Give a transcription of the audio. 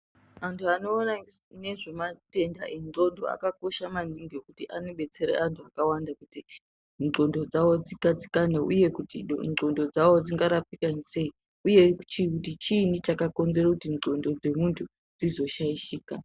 Antu anoona ngezvematenda endxondo akakosha maningi ngekuti anobetsera antu akawanda kuti ndxondo dzawo dzigadzikane uye kuti ndxondo dzawo dzingarapika sei uye kuti chiinyi chinoita kuti ndxondo dzemuntu dzizoshaishika.